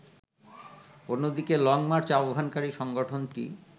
অন্যদিকে লংমার্চ আহ্বানকারী সংগঠনটি